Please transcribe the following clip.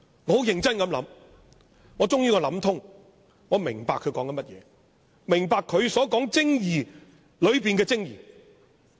我終於想通了，我明白他在說甚麼，明白他所說精義當中的精義。